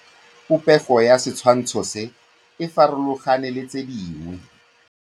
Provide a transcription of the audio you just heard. Popêgo ya setshwantshô se, e farologane le tse dingwe.